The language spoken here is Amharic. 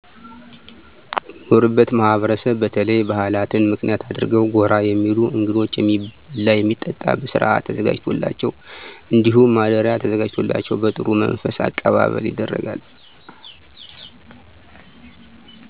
በምኖርበት ማህበረሰብ በተለይ ባህላትን ምክንያት አድርገው ጎራ የሚሉ እንግዶች የሚበላ የሚጠጣ በስርአት ተዘጋጅቶላቸው እንዲሁም ማደሪያ ተዘጋጅቶላቸው በጥሩ መንፈስ አቀባበል ይደረጋል።